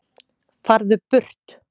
FARÐU BURT